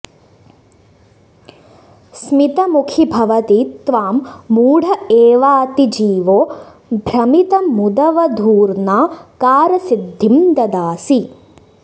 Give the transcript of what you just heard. स्मितमुखि भवति त्वां मूढ एवातिजीवो भ्रमितमुदवधूर्ना कारसिद्धिं ददासि